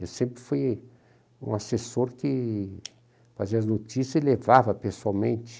Eu sempre fui um assessor que fazia as notícias e levava pessoalmente.